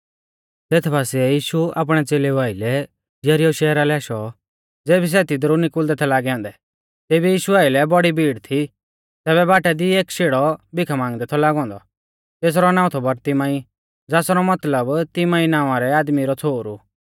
तेथ बासिऐ यीशु आपणै च़ेलेउ आइलै यरीहो शहरा लै आशौ ज़ेबी सै तिदरु निकुल़दै थै लागै औन्दै तेबी यीशु आइलै बौड़ी भीड़ थी तैबै बाटा दी एक शेड़ौ भिखा मांगदै थौ बोशौ औन्दौ तेसरौ नाऊं थौ बरतिमाई ज़ासरौ मतलब तिमाईं नावां रै आदमी रौ छ़ोहरु